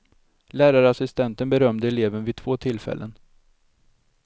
Lärarassistenten berömde eleven vid två tillfällen.